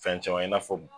Fɛn caman i n'a fɔ